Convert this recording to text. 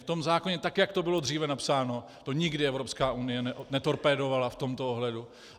V tom zákoně, tak jak to bylo dříve napsáno, to nikdy Evropská unie netorpédovala v tomto ohledu.